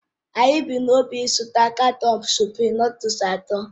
Anyị bu n'obi ịzụta katọọnu suprịm nụdụlsu atọ.